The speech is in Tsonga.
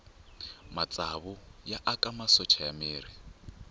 matsavu ya aka masocha ya miri